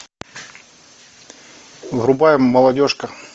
врубаем молодежка